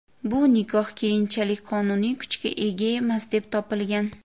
Bu nikoh keyinchalik qonuniy kuchga ega emas, deb topilgan.